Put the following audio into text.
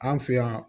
An fɛ yan